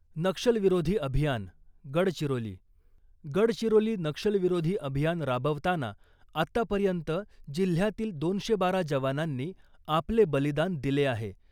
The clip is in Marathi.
नक्षलविरोधी अभियान गडचिरोली, गडचिरोली नक्षलविरोधी अभियान राबवताना आत्तापर्यंत जिल्ह्यातील दोनशे बारा जवानांनी आपले बलिदान दिले आहे .